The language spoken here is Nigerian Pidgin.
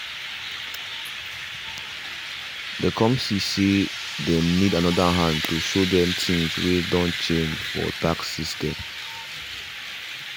they come see say them need another hand to show them things way done change fr tax system